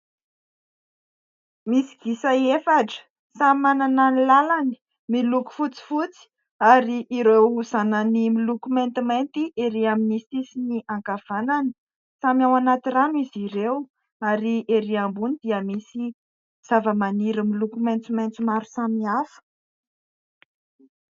Misy gisa efatra samy manana ny lalany miloko fotsifotsy ary ireo zanany miloko maintimainty erỳ amin'ny sisiny ankavana. Samy ao anaty rano izy ireo ary erỳ ambony dia misy zavamaniry miloko maintimainty maro samihafa.